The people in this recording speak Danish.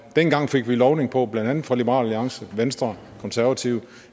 dengang fik vi lovning på blandt andet fra liberal alliance venstre konservative